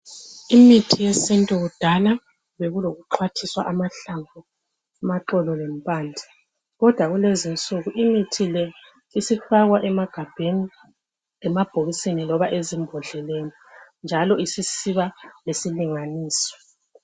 Imithi yesintu kudala bekulokuxwathiswa kwamahlamvu, amaxolo lemphande kodwa kulezinsuku imithi le isifakwa emagabheni, emabhokisini loba ezimbodleleni njalo isisiba lesilinganiso.